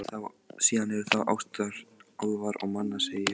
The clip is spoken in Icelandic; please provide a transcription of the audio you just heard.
Síðan eru það ástir álfa og manna, segi ég.